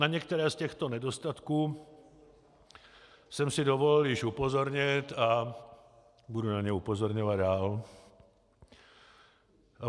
Na některé z těchto nedostatků jsem si dovolil již upozornit a budu na ně upozorňovat dál.